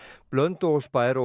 Blönduósbær og